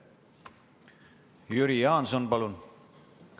Jüri Jaanson, palun!